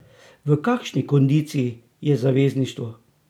V kakšni kondiciji je zavezništvo?